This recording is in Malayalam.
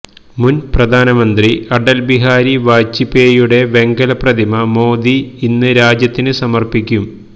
മുന് പ്രധാനമന്ത്രി അടല് ബിഹാരി വാജ്പേയിയുടെ വെങ്കല പ്രതിമ മോദി ഇന്ന് രാജ്യത്തിന് സമര്പ്പിക്കും